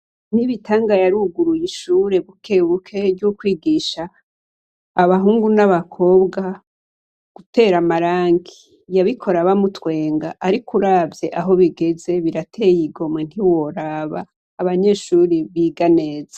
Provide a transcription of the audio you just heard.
Nibitanga yaruguruye ishure bukebuke ryo kwigisha abahungu n'abakobwa gutera amarangi. Yabikora bamutwenga ariko uravye aho bigeze, birateye igomwe ntiworaba. Abanyeshure biga neza.